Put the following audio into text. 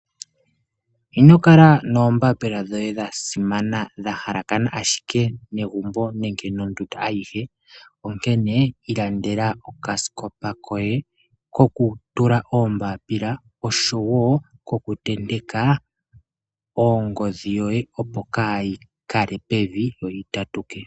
Inokala noombaapila dhoye dha simana dha shalakana ashike negumbo nenge nondunda ayihe onkene ilandela okasikopa koye kokutula oombapila oshowo kokutendeka ongodhi yoye opo kayi kale pevi yo yi tatuke.